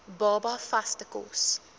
baba vaste kos